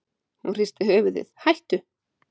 Hún hristi höfuðið: hættu.